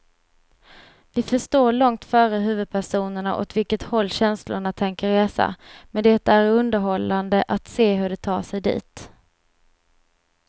Vi förstår långt före huvudpersonerna åt vilket håll känslorna tänker resa, men det är underhållande att se hur de tar sig dit.